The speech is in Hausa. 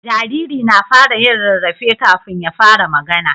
Jariri na fara yin rarrafe kafin ya fara magAna